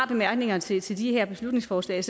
bemærkningerne til til de her beslutningsforslag